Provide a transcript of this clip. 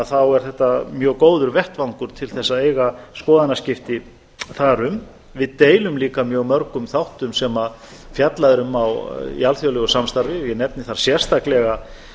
þá er þetta mjög góður vettvangur til þess að eiga skoðanaskipti þar um við deilum líka mjög mörgum þáttum sem fjallað er um í alþjóðlegu samstarfi ég nefni þar sérstaklega